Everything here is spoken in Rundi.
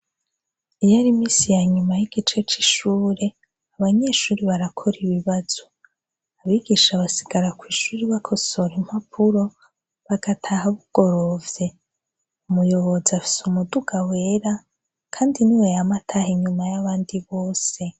Iyo ar'iminsi ya nyuma y'igice c'ishure, abanyeshuri barakora ibibazo. Abigisha basigara kw'ishuri bakosora impapuro, bagataha bugorovye. umuyobozi afise umuduga wera, kandi niwe yam'ataha inyuma y'abandi bose.